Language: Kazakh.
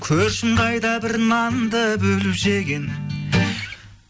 көршім қайда бір нанды бөліп жеген